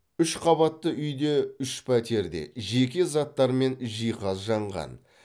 үш қабатты үйде үш пәтерде жеке заттар мен жиһаз жанған